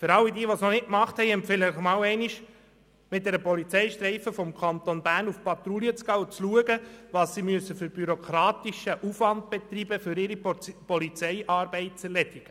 Allen, die das noch nicht gemacht haben, empfehle ich, einmal mit einer Polizeistreife des Kantons Bern auf Patrouille zu gehen und zu beobachten, welchen bürokratischen Aufwand sie betreiben muss, um ihre Polizeiarbeit zu erledigen.